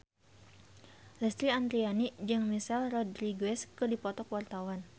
Lesti Andryani jeung Michelle Rodriguez keur dipoto ku wartawan